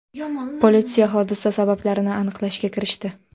Politsiya hodisa sabablarini aniqlashga kirishdi.